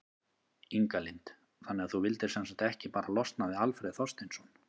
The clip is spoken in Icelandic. Inga Lind: Þannig að þú vildir sem sagt ekki bara losna við Alfreð Þorsteinsson?